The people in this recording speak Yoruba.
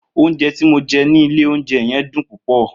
Ounjé ti mó jé ní ìlé ounjé yen dun púpõ